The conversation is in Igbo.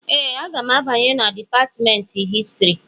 Ee, aga m abanye na Dipatmentị Histrị